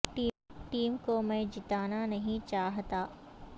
team کو میں جتانا نہیں چاہتا